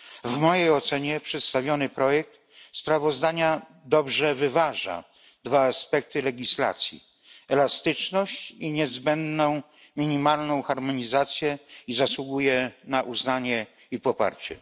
W mojej ocenie przedstawiony projekt sprawozdania dobrze wyważa dwa aspekty legislacji elastyczność i niezbędną minimalną harmonizację, i zasługuje na uznanie i poparcie.